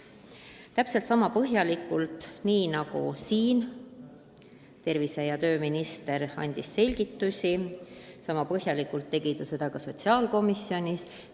Täpselt sama põhjalikult, nagu tervise- ja tööminister andis täna siin selgitusi, tegi ta seda ka sotsiaalkomisjonis.